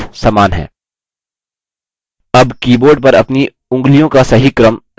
अब keyboard पर अपनी उँगलियों का सही क्रम स्थान देखते हैं